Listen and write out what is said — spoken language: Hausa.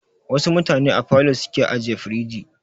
Wasu mutane a falo su ke ajiye firij.